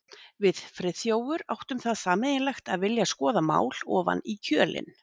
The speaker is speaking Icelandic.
Við Friðþjófur áttum það sameiginlegt að vilja skoða mál ofan í kjölinn.